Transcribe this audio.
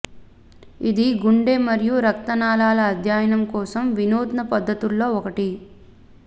ఇది గుండె మరియు రక్త నాళాలు అధ్యయనం కోసం వినూత్న పద్ధతుల్లో ఒకటి